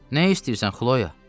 Nə istəyirsən Xloya?